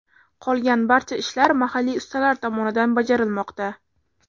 Qolgan barcha ishlar mahalliy ustalar tomonidan bajarilmoqda.